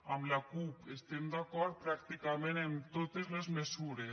amb la cup estem d’acord pràcticament en totes les mesures